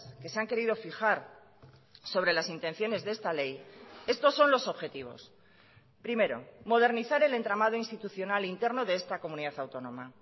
que se han querido fijar sobre las intenciones de esta ley estos son los objetivos primero modernizar el entramado institucional interno de esta comunidad autónoma